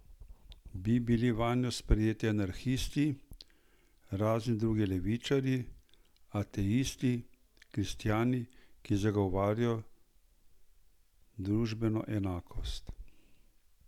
Bi bili vanjo sprejeti anarhisti, razni drugi levičarji, ateisti, kristjani, ki zagovarjajo družbeno enakost?